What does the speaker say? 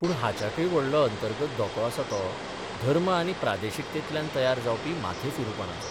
पूण हाच्याकय व्हडलो अंतर्गत धोको आसा तो धर्म आनी प्रादेशिकतेतल्यान तयार जावपी माथेफिरूपणाचो.